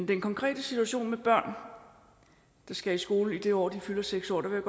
den konkrete situation med børn der skal i skole i det år hvor de fylder seks år vil